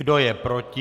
Kdo je proti?